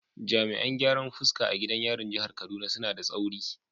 Jami’an gyaran fuska a gidan yarin jihar Kaduna suna da tsauri